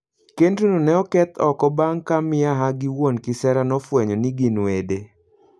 Kendno ne oketh oko bang' ka miaha gi wuon kisera nofwenyo ni gin wede.